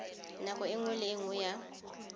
nako nngwe le nngwe ya